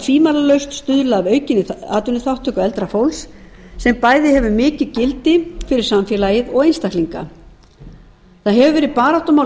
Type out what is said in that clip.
tvímælalaust stuðla að aukinni atvinnuþátttöku eldra fólks sem bæði hefur mikið gildi fyrir samfélagið og einstaklinga það hefur verið baráttumál